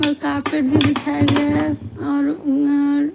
और कार्पेट भी बिछाया गया है और उम अ --